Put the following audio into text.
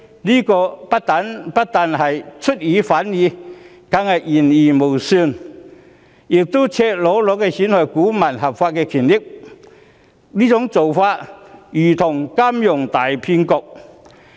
這不但出爾反爾，更是言而無信，亦是赤裸裸地損害股民的合法權益，做法如同金融大騙局。